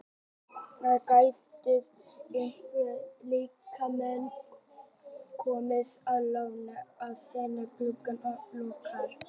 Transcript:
Það gætu einhverjir leikmenn komið á láni áður en glugginn lokar.